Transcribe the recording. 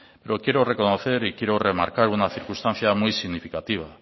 pero quiero reconocer y quiero remarcar una circunstancia muy significativa